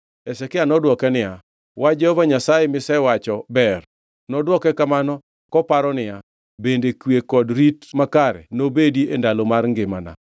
Hezekia nodwoke niya, “Wach Jehova Nyasaye misewacho ber.” Nodwoke kamano koparo niya, “Bende kwe kod rit makare nobedi e ndalo mar ngimana?”